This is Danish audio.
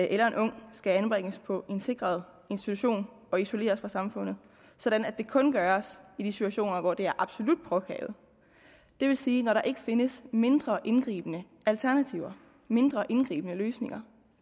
eller en ung skal anbringes på en sikret institution og isoleres fra samfundet sådan at det kun gøres i de situationer hvor det er absolut påkrævet det vil sige når der ikke findes mindre indgribende alternativer mindre indgribende løsninger